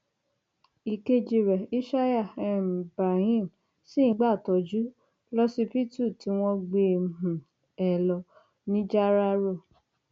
ìkejì rẹ ishaya um ibrahim ṣì ń gbàtọjú lọsibítù tí wọn gbé um e lọ nìjáràró